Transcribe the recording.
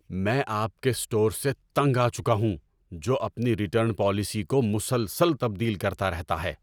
میں آپ کے اسٹور سے تنگ آ چکا ہوں جو اپنی ریٹرن پالیسی کو مسلسل تبدیل کرتا رہتا ہے۔